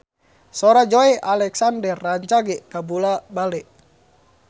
Sora Joey Alexander rancage kabula-bale